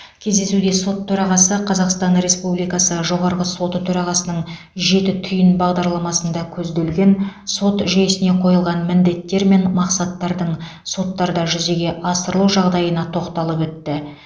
кездесуде сот төрағасы қазақстан республикасы жоғарғы соты төрағасының жеті түйін бағдарламасында көзделген сот жүйесіне қойылған міндеттер мен мақсаттардың соттарда жүзеге асырылу жағдайына тоқталып өтті